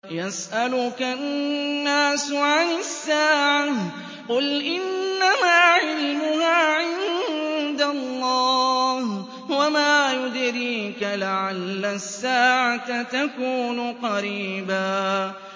يَسْأَلُكَ النَّاسُ عَنِ السَّاعَةِ ۖ قُلْ إِنَّمَا عِلْمُهَا عِندَ اللَّهِ ۚ وَمَا يُدْرِيكَ لَعَلَّ السَّاعَةَ تَكُونُ قَرِيبًا